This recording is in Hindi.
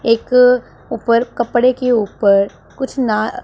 एक ऊपर कपड़े के ऊपर कुछ ना--